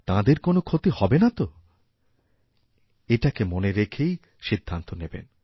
তাঁদের কোনও ক্ষতি হবে না তো এটাকে মনে রেখেই সিদ্ধান্ত নেবেন